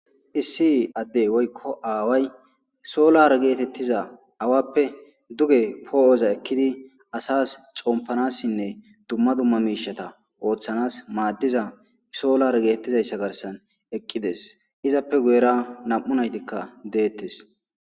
Issi adeey woykko away sollare gettetiza awappe duge po'za ekidi assas xompanasinne dumma dumma mishshsatta ooththanas madiza sollare gettetizaysa garsan eqidees izappe guwera nam'u nayitikka detees